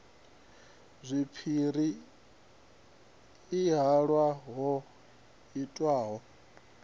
zwipiri i halwa ho itwaho